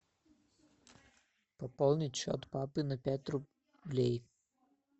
пополнить счет папы на пять рублей